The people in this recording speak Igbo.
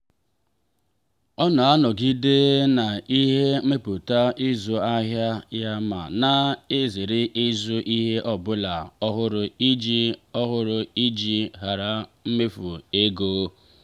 ọ na-anọgide na ihe ndepụta ịzụ ahịa ya ma na-ezere ịzụ ihe ọbụla ọhụrụ iji ọhụrụ iji hara imefu ego.